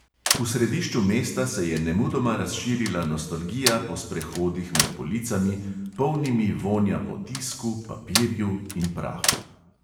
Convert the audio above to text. V središču mesta se je nemudoma razširila nostalgija po sprehodih med policami, polnimi vonja po tisku, papirju in prahu.